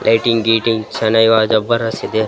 Writing ಗಿಟಿಂಗ್ ಶಾಣ ಇವ ಜಬ್ಬರ್ದಸ್ ಇದೆ .